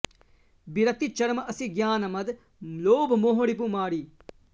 बिरति चर्म असि ग्यान मद लोभ मोह रिपु मारि